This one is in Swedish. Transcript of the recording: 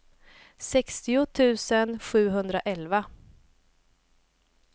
sextio tusen sjuhundraelva